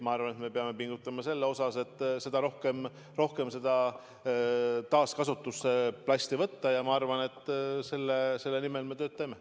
Ma arvan, et me peame pingutama selle nimel, et plasti rohkem taaskasutusse võtta, ja ma arvan, et selle nimel me töötame.